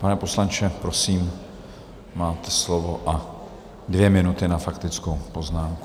Pane poslanče, prosím, máte slovo a dvě minuty na faktickou poznámku.